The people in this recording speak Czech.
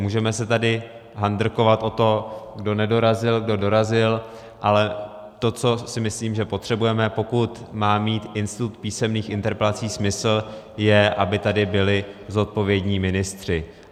Můžeme se tady handrkovat o to, kdo nedorazil, kdo dorazil, ale to, co si myslím, že potřebujeme, pokud má mít institut písemných interpelací smysl, je, aby tady byli zodpovědní ministři.